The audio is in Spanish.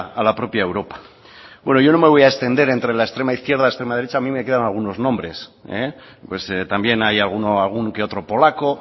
a la propia europa bueno yo no me voy a extender entre la extrema izquierda extrema derecha a mí me quedan algunos nombres pues también hay algún que otro polaco